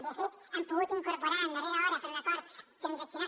de fet hem pogut incorporar a darrera hora per un acord transaccionat